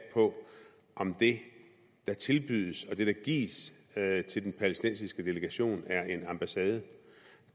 på om det der tilbydes og det der gives til den palæstinensiske delegation er en ambassade